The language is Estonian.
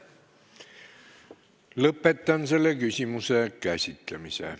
Lõpetan selle küsimuse käsitlemise.